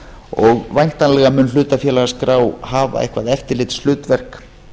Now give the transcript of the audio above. og væntanlega mun hlutafélagaskrá hafa eitthvað eftirlitshlutverk